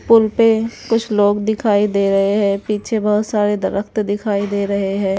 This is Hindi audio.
पुल पे कुछ लोग दिखाई दे रहे हैं पीछे बहुत सारे दरख्त दिखाई दे रहे हैं।